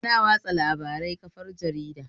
Ana yaɗa labarai kafar jarida